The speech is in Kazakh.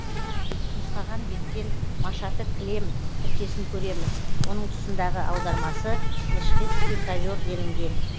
нұсқаған беттен машаты килем тіркесін көреміз оның тұсындағы аудармасы мешхедский ковер делінген